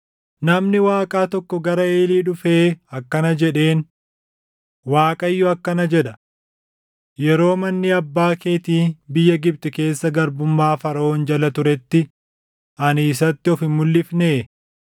Namni Waaqaa tokko gara Eelii dhufee akkana jedheen; “ Waaqayyo akkana jedha: ‘Yeroo manni abbaa keetii biyya Gibxi keessa garbummaa Faraʼoon jala turetti ani isatti of mulʼifnee?